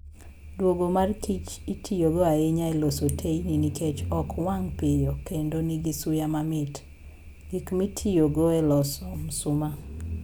Duogo mar kich itiyogo ahinya e loso teyni nikech ok wang' piyo kendo nigi suya mamit. Gik mitiyogo e loso msoma